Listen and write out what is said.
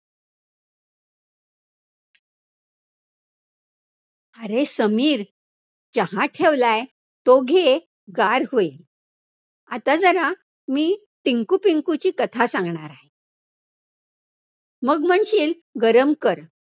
अरे, समीर चहा ठेवलाय, तो घे. गार होईल, आता जरा मी टिंकुपिंकुची कथा सांगणार आहे, मग म्हणशील गरम कर.